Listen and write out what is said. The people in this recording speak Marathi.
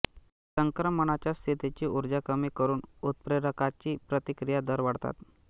संक्रमणाच्या स्थितीची ऊर्जा कमी करून उत्प्रेरकाची प्रतिक्रिया दर वाढतात